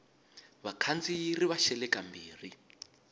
vakhandziyi ri va xele kambirhi